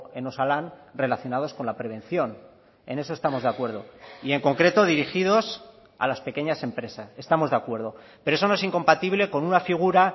en osalan relacionados con la prevención en eso estamos de acuerdo y en concreto dirigidos a las pequeñas empresas estamos de acuerdo pero eso no es incompatible con una figura